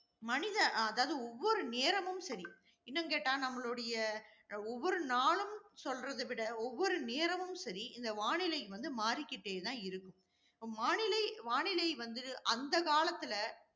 மனித அஹ் அதாவது ஒவ்வொரு நேரமும் சரி. இன்னும் கேட்டா, நம்மளுடைய ஒவ்வொரு நாளும் சொல்றதை விட, ஒவ்வொரு நேரமும் சரி, இந்த வானிலை வந்து மாறிகிட்டே தான் இருக்கும். வானிலை, வானிலை வந்து அந்த காலத்துல